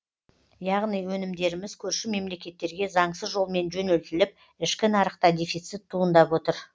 яғни өнімдеріміз көрші мемлекеттерге заңсыз жолмен жөнелтіліп ішкі нарықта дефицит туындап отыр